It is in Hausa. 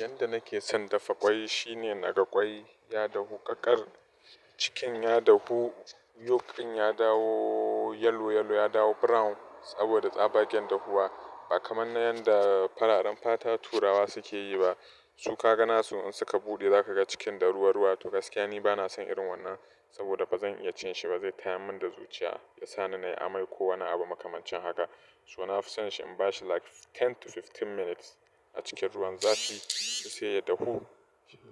Yanda nake son dafa ƙwai shine in aga ƙwai ya dahu ƙaƙar, cikin ya dafu, yolk din ya dawo yello yello ya dawo brown saboda tsabagen dahuwa. Ba kamar na yanda fararen fata turawa suke yi ba. Su ka ga nasu in suka buɗe za ka ga cikin da ruwa ruwa. To gaskiya ni ba na san irin wannan saboda ba zan iya cin shi ba zai taya min da zuciya, ya sa ni na yi amai ko wane abu makamancin haka. So na fi san shi in ba shi like ten to fifteen minutes a cikin ruwan zafi sai ya dahu.